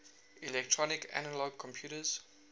electronic analog computers